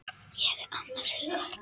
Ég er annars hugar.